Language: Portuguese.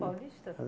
Paulista?